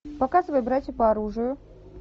показывай братья по оружию